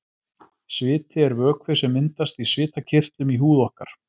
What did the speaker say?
Sviti er vökvi sem myndast í svitakirtlum í húð okkar.